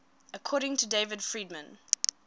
according to david friedman